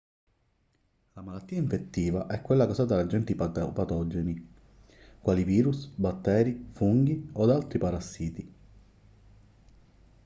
la malattia infettiva è quella causata da agenti patogeni quali virus batteri funghi o da altri parassiti